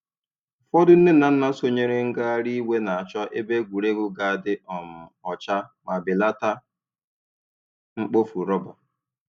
Ụfọdụ nne na nna sonyeere ngagharị iwe na-achọ ebe egwuregwu ga-adị um ọcha ma belata mkpofu rọba.